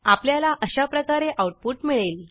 आपल्याला अशाप्रकारे आऊटपुट मिळेल